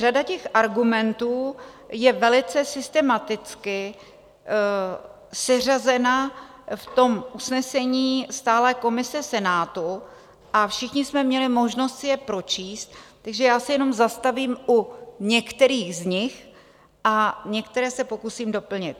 Řada těch argumentů je velice systematicky seřazena v tom usnesení stálé komise Senátu a všichni jsme měli možnost si je pročíst, takže já se jenom zastavím u některých z nich a některé se pokusím doplnit.